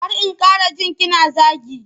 Kar in ƙara ji kina zagi.